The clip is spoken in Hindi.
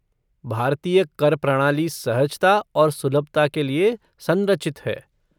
भारतीय कर प्रणाली सहजता और सुलभता के लिए संरचित है।